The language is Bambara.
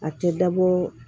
A tɛ dabɔ